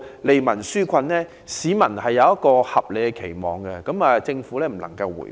市民對此抱有合理期望，政府不能迴避。